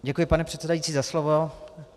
Děkuji, pane předsedající, za slovo.